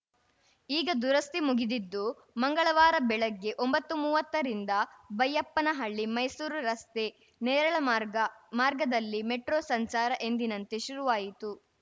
ಈಗ ದುರಸ್ತಿ ಮುಗಿದಿದ್ದು ಮಂಗಳವಾರ ಬೆಳಗ್ಗೆ ಒಂಬತ್ತುಮೂವತ್ತ ರಿಂದ ಬೈಯಪ್ಪನಹಳ್ಳಿ ಮೈಸೂರು ರಸ್ತೆ ನೇರಳೆ ಮಾರ್ಗ ಮಾರ್ಗದಲ್ಲಿ ಮೆಟ್ರೋ ಸಂಚಾರ ಎಂದಿನಂತೆ ಶುರುವಾಯಿತು